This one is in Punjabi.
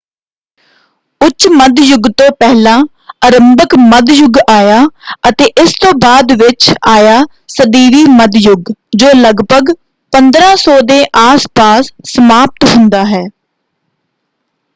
ਉੱਚ ਮੱਧ ਯੁੱਗ ਤੋਂ ਪਹਿਲਾਂ ਅਰੰਭਕ ਮੱਧ ਯੁੱਗ ਆਇਆ ਅਤੇ ਇਸ ਤੋਂ ਬਾਅਦ ਵਿੱਚ ਆਇਆ ਸਦੀਵੀ ਮੱਧ ਯੁੱਗ ਜੋ ਲਗਭਗ 1500 ਦੇ ਆਸ ਪਾਸ ਸਮਾਪਤ ਹੁੰਦਾ ਹੈ।